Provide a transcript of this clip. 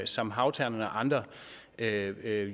som havternen og andre